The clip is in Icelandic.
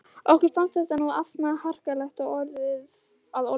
Okkur fannst þetta nú ansi harkalega að orði komist.